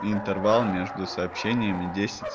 и интервал между сообщениями десять